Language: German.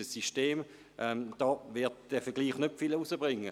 Hier wird der Vergleich nicht viel bringen.